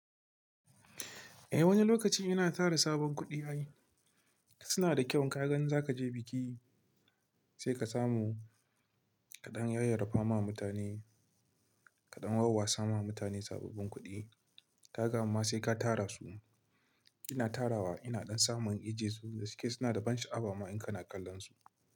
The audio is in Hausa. Eh wani lokaci ina tara sabon kuɗi ayi. Suna da kyau ka gan za kaje biki sai ka samu kaɗan yayi raffa ma mutane, kaɗan wawasa ma mutane sababbin kuɗi. Ka gama sai ka tara su. Ina tara wa ina dan samun ije su, da suke suna da ban sha'awa ma in kana kallon su.